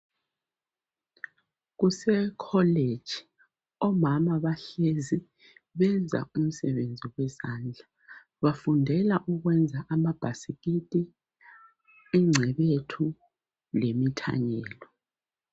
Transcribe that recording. Kusekholeji omama bahlezi benza umsebenzi wezandla. Bafundela ukwenza amabhasikiti ingcebethu lemithanyelo.